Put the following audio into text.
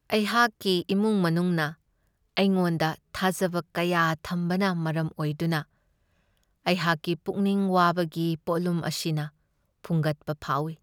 ꯑꯩꯍꯥꯛꯀꯤ ꯏꯃꯨꯡ ꯃꯅꯨꯡꯅ ꯑꯩꯉꯣꯟꯗ ꯊꯥꯖꯕ ꯀꯌꯥ ꯊꯝꯕꯅ ꯃꯔꯝ ꯑꯣꯏꯗꯨꯅ ꯑꯩꯍꯥꯛꯀꯤ ꯄꯨꯛꯅꯤꯡ ꯋꯥꯕꯒꯤ ꯄꯣꯠꯂꯨꯝ ꯑꯁꯤꯅ ꯐꯨꯡꯒꯠꯄ ꯐꯥꯎꯢ ꯫